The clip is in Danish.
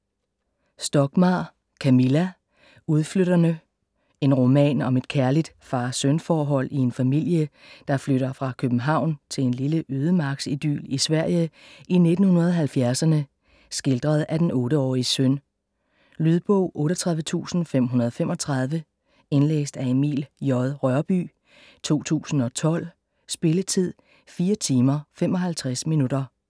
Stockmarr, Camilla: Udflytterne En roman om et kærligt far-søn forhold i en familie, der flytter fra København til en lille ødemarksidyl i Sverige i 1970'erne, skildret af den 8-årige søn. Lydbog 38535 Indlæst af Emil J. Rørbye, 2012. Spilletid: 4 timer, 55 minutter.